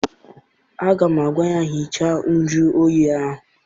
Aga m agwa ya, hichaa njuoyi ahụ!